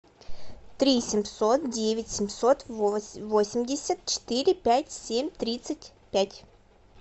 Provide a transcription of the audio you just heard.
три семьсот девять семьсот восемьдесят четыре пять семь тридцать пять